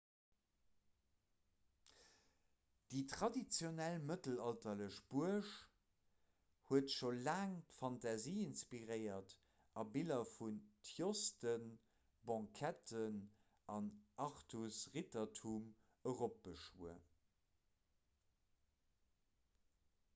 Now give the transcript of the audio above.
déi traditionell mëttelalterlech buerg huet scho laang d'fantasie inspiréiert a biller vun tjosten banqueten an artus-rittertum eropbeschwuer